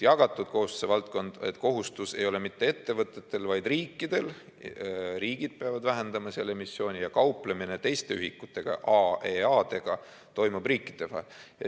Jagatud kohustuse valdkond – kohustus ei ole mitte ettevõtetel, vaid riikidel, st riigid peavad vähendama seal emissiooni, ja kauplemine teiste ühikutega, AEA-dega toimub riikide vahel.